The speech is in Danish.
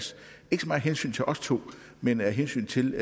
hensyn til os to men af hensyn til